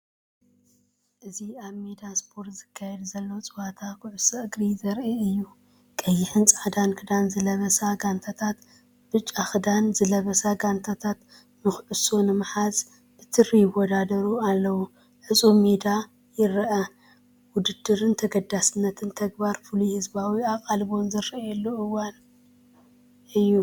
እዚ ኣብ ሜዳ ስፖርት ዝካየድ ዘሎ ጸወታ ኩዕሶ እግሪ ዘርኢ እዩ። ቀይሕን ጻዕዳን ክዳን ዝለበሳ ጋንታትን ብጫ ክዳን ዝለበሳ ጋንታትን ንኹዕሶ ንምሓዝ ብትሪ ይወዳደሩ ኣለው። ዕጹው ሜዳ ይርአ። ውድድርን ተገዳስነትን፡ ተግባርን ፍሉይ ህዝባዊ ኣቓልቦን ዝረኣየሉ እዋን።